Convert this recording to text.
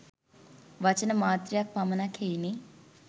වචන මාත්‍රයක් පමණක් හෙයිනි.